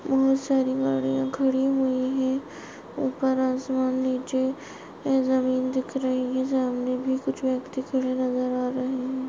बहुत सारी गड़िया खड़ी हुई है। ऊपर आसमान नीचे ए जमीन दिख रही है। सामने भी कुछ व्यक्ति खड़े नजर आ रहे है।